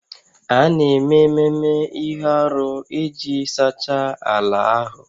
A na-eme ememe ihe arụ iji sachaa ala ahụ